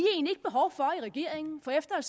at regeringen for efter at